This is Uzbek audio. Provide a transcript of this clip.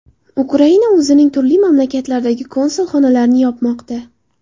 Ukraina o‘zining turli mamlakatlardagi konsulxonalarini yopmoqda.